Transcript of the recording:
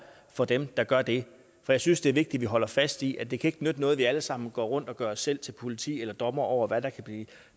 for dem der gør det for jeg synes det er vigtigt at holde fast i at det ikke kan nytte noget at vi alle sammen går rundt og gør os selv til politi eller dommere over hvad der kan blive